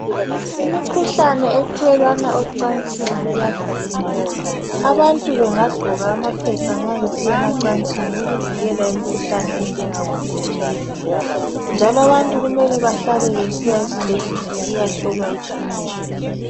Imikhuhlane ethelelwana ocansini iyavikeleka. Abantu bengagqoka amaphepha nxa besiya emacansini ukuvikela imikhuhlane enjengabo HIV, njalo abantu kumele bahlale besiya esibhedlela ukuyahlolwa igazi.